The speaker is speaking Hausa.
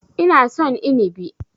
Ina son Inibi.